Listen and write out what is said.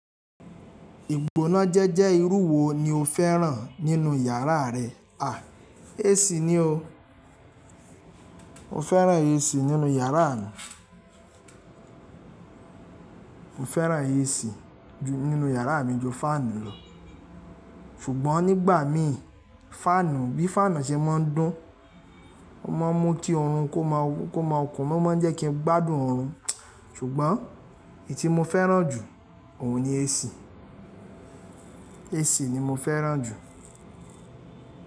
Ìgbóná jẹ́jẹ́ irú wo ni o fẹ́ràn nínú ìyàrá rẹ? À, AC ni o. Mo fẹ́ràn AC nínú yàrá mi. Mo fẹ́ràn AC nínú ìyàrá mi ju faanu lọ. Ṣùgbọ́n nígbà mi faanu bí faanu ṣe mo ń dún, ó máa ń mú kí oorun kó máa kó máa kun. Wọ́n mo ń jẹ́ kí n gbádùn oorun. Ṣùgbọ́n èyí tí mo fẹ́ràn jù óun ni AC. AC ni mo fẹ́ràn jù.